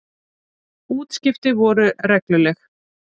Útskipti voru regluleg.